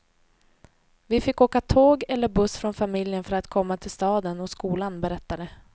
Vi fick åka tåg eller buss från familjen för att komma till staden och skolan, berättar de.